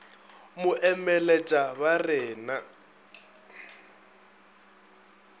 mo emeletša ba re na